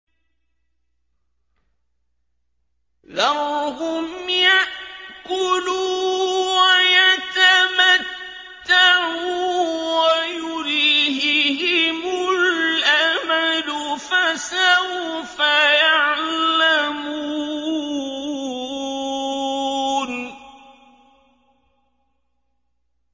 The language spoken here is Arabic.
ذَرْهُمْ يَأْكُلُوا وَيَتَمَتَّعُوا وَيُلْهِهِمُ الْأَمَلُ ۖ فَسَوْفَ يَعْلَمُونَ